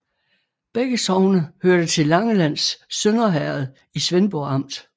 Begge sogne hørte til Langelands Sønder Herred i Svendborg Amt